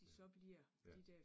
Ja, ja